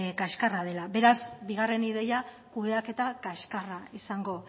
kaxkarra dela beraz bigarren ideia kudeaketa kaxkarra izango